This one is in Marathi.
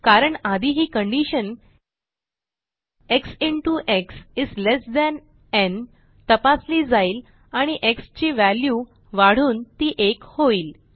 कारण आधी ही condition x into x is less than न् तपासली जाईल आणि एक्स ची व्हॅल्यू वाढून ती 1 होईल